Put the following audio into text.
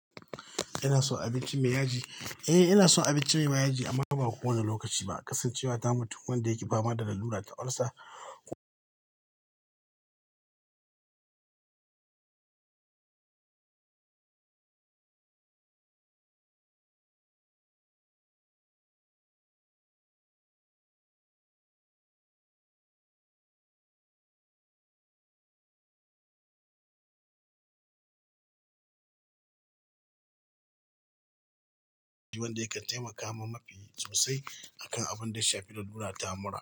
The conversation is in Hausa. Ina son abinci mai yaji. Eh, ina son abinci mai ma yaji amma fa ba kowane lokaci ba. Kasancewata mutum wanda yake fama da lalura ta ulcer, ko wanda ya kan taimaka mun mafi sosai akan abunda ya shafi lalura ta mura.